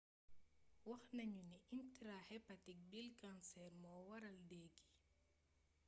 waxnañu ni intrahepatic bile cancer mo waral déé gi